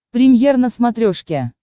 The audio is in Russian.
премьер на смотрешке